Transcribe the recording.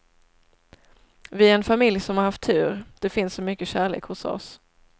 Vi är en familj som har haft tur, det finns så mycket kärlek hos oss.